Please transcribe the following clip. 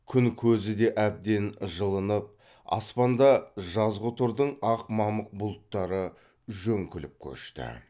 күн көзі де әбден жылынып аспанда жазғытұрдың ақ мамық бұлттары жөңкіліп көшті